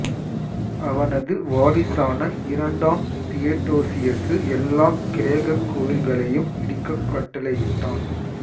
அவனது வாரிசான இரண்டாம் தியடோசியசு எல்லாக் கிரேக்கக் கோயில்களையும் இடிக்கக் கட்டளையிட்டான்